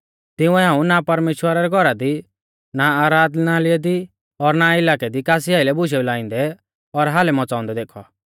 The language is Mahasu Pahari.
तिंउऐ हाऊं ना परमेश्‍वरा रै घौरा दी ना आराधनालय दी और ना इलाकै दी कासी आइलै बुशेऊ लाइंदै और हालै मच़ाउंदै देखौ